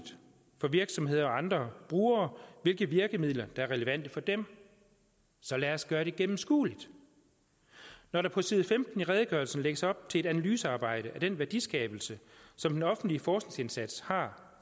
for virksomheder og andre brugere hvilke virkemidler der er relevante for dem så lad os gøre det gennemskueligt når der på side femten i redegørelsen lægges op til et analysearbejde af den værdiskabelse som den offentlige forskningsindsats har